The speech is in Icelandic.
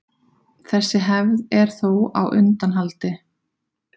Þessi hefð er þó á undanhaldi.